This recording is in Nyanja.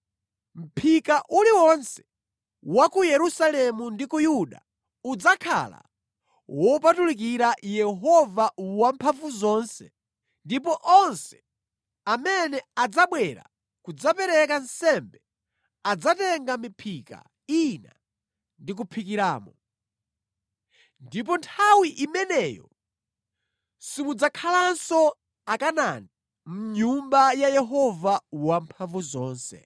Mʼphika uliwonse ku Yerusalemu ndi ku Yuda udzakhala wopatulikira Yehova Wamphamvuzonse, ndipo onse amene adzabwera kudzapereka nsembe adzatenga miphika ina ndi kuphikiramo. Ndipo nthawi imeneyo simudzakhalanso Akanaani mʼNyumba ya Yehova Wamphamvuzonse.